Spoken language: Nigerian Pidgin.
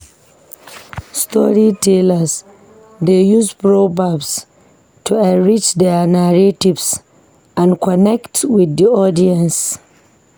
Storytellers dey use proverbs to enrich their narratives and connect with the audience.